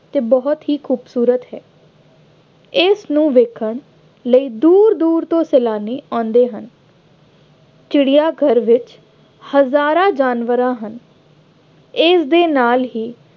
ਅਤੇ ਬਹੁਤ ਹੀ ਖੂਬਸੂਰਤ ਹੈ। ਇਸਨੂੰ ਵੇਖਣ ਲਈ ਦੂਰ ਦੂਰ ਤੋਂ ਸੈਲਾਨੀ ਆਉਂਦੇ ਹਨ। ਚਿੜਿਆ ਘਰ ਵਿੱਚ ਹਜ਼ਾਰਾਂ ਜਾਨਵਰਾਂ ਹਨ। ਇਸਦੇ ਨਾਲ ਹੀ